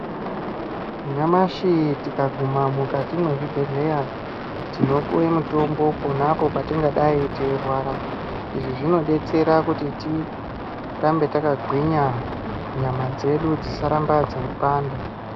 Nyamashi tikaguma mukati mwezvibhedhlera tinopuwe mitombo ponapo patingadai teirwara izvi zvinodetsera kuti tirambe yakagwinya nyama dzedu dzisaramba dzeipanda.